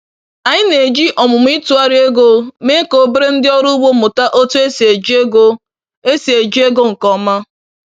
Anyị na-eji ọmụmụ ịtụgharị ego mee ka obere ndị ọrụ ugbo mụta otu esi eji ego esi eji ego nke ọma.